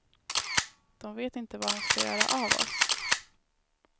De vet inte vad de ska göra av oss.